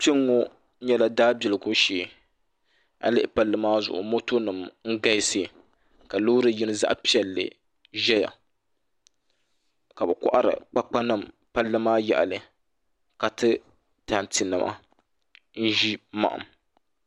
Kpɛŋŋo nyɛla daabiligu shee a yi lihi palli maa zuɣu moto nim n galisi ka loori yini zaɣ piɛlli ʒɛya ka bi kohari kpakpa nim palli maa yaɣali ka ti tanti nima n ʒi maham